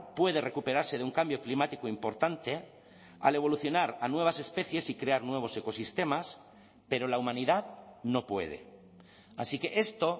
puede recuperarse de un cambio climático importante al evolucionar a nuevas especies y crear nuevos ecosistemas pero la humanidad no puede así que esto